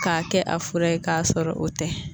K'a kɛ a fura ye k'a sɔrɔ o tɛ